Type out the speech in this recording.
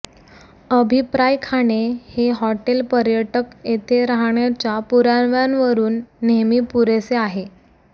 अभिप्राय खाणे हे हॉटेल पर्यटक येथे राहण्याच्या पुराव्यांवरून नेहमी पुरेसे आहे